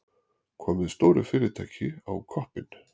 Komið stóru fyrirtæki á koppinn.